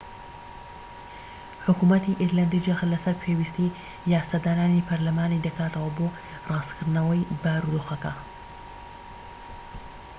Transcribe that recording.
حکومەتی ئیرلەندی جەخت لەسەر پێویستیی یاسادانانی پەرلەمانی دەکاتەوە بۆ ڕاستکردنەوەی بارودۆخەکە